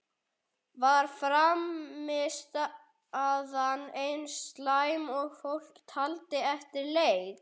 Var frammistaðan eins slæm og fólk taldi eftir leik?